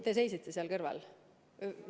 Kas te seisite seal kõrval?